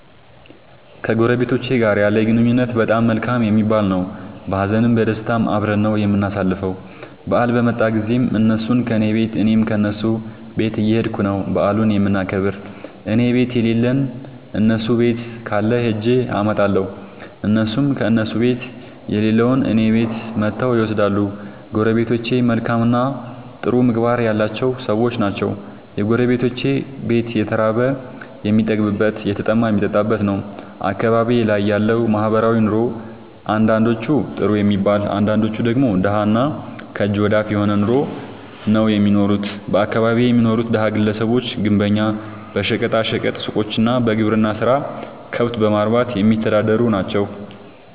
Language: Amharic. ከጎረቤቶቸ ጋር ያለኝ ግንኙነት በጣም መልካም የሚባል ነዉ። በሀዘንም በደስታም አብረን ነዉ የምናሣልፈዉ በአል በመጣ ጊዜም እነሡም ከኔ ቤት እኔም ከነሡ ቤት እየኸድኩ ነዉ በዓሉን የምናከብር እኔቤት የለለዉን እነሡ ቤት ካለ ኸጀ አመጣለሁ። እነሡም ከእነሡ ቤት የሌለዉን እኔ ቤት መጥተዉ ይወስዳሉ። ጎረቤቶቸ መልካምእና ጥሩ ምግባር ያላቸዉ ሠዎች ናቸዉ። የጎረቤቶቼ ቤት የተራበ የሚጠግብበት የተጠማ የሚጠጣበት ነዉ። አካባቢዬ ላይ ያለዉ ማህበራዊ ኑሮ አንዳንዶቹ ጥሩ የሚባል አንዳንዶቹ ደግሞ ደሀ እና ከእጅ ወደ አፍ የሆነ ኑሮ ነዉ እሚኖሩት በአካባቢየ የሚኖሩት ደሀ ግለሰቦች ግንበኛ በሸቀጣ ሸቀጥ ሡቆች እና በግብርና ስራ ከብት በማርባትየሚተዳደሩ ናቸዉ።